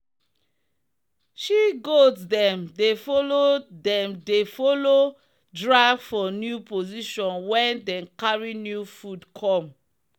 she goats dem dey follow dem dey follow drag for new position when dem carry new food come.'